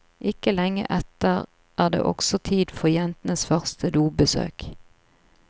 Ikke lenge etter er det også tid for jentenes første dobesøk.